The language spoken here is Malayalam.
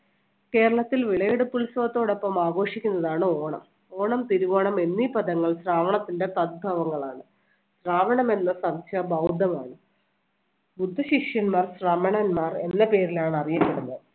കേരളത്തിൽ വിളവെടുപ്പ് ഉത്സവത്തോടൊപ്പം ആഘോഷിക്കുന്നതാണ് ഓണം. ഓണം തിരുവോണം എന്നീ പദങ്ങൾ ശ്രാവണത്തിന്‍റെ സദ്ഭാവങ്ങലാണ്. ശ്രാവണം എന്ന സംശ ബൌര്‍ദ്ധമാണ്. ബുദ്ധ ശിഷ്യന്മാർ ശ്രമണന്മാർ എന്ന പേരിലാണ് അറിയപ്പെടുന്നത്.